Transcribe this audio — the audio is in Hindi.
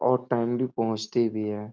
और टाइम भी पहुँचती भी है।